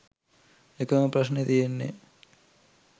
එකම ප්‍රශ්නෙ තියෙන්නෙ